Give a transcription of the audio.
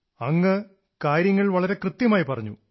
താങ്കൾ കാര്യങ്ങൾ വളരെ കൃത്യമായി പറഞ്ഞു